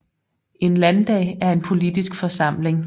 En landdag er en politisk forsamling